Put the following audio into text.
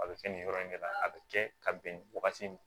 A bɛ kɛ nin yɔrɔ in de la a bɛ kɛ ka bɛn nin wagati ma